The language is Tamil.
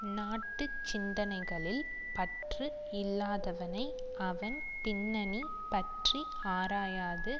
நாட்டு சிந்தனைகளில் பற்று இல்லாதவனை அவன் பின்னணி பற்றி ஆராயாது